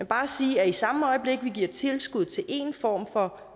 bare sige at i samme øjeblik vi giver tilskud til en form for